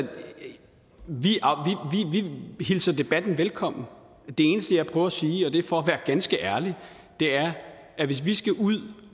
vi hilser debatten velkommen det eneste jeg prøver at sige og det er for at være ganske ærlig er at hvis vi skal ud